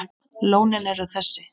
Lónin eru þessi